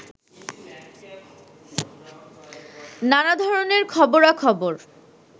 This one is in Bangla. নানা ধরণের খবরাখবর